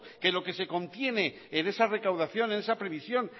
que lo que se contiene en esa recaudación en esa previsión